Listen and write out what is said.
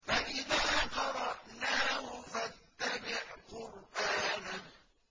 فَإِذَا قَرَأْنَاهُ فَاتَّبِعْ قُرْآنَهُ